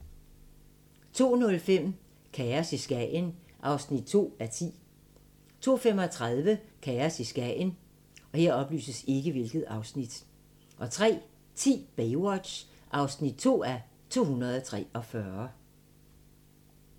02:05: Kaos i Skagen (2:10) 02:35: Kaos i Skagen 03:10: Baywatch (2:243)